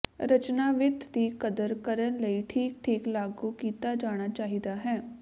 ਰਚਨਾ ਵਿੱਥ ਦੀ ਕਦਰ ਕਰਨ ਲਈ ਠੀਕ ਠੀਕ ਲਾਗੂ ਕੀਤਾ ਜਾਣਾ ਚਾਹੀਦਾ ਹੈ